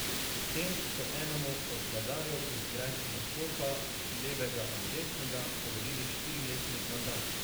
S tem so enemu od vladarjev iz grajskega stolpa, levega ali desnega, podelili štiriletni mandat.